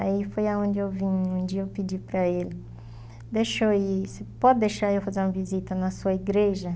Aí foi onde eu vim, um dia eu pedi para ele, deixa eu ir, você pode deixar eu fazer uma visita na sua igreja?